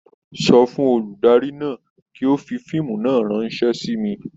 Sọ fún olùdarí náà kí ó fi fíìmù náà ránṣẹ́ sí mi.